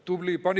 Tubli!